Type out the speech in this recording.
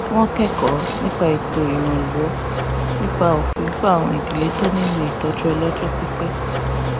wón kékòó nípa ètò ìrànwó nípa òfin fún àwọn ìdílé tó nílò ìtójú ọlójó pípé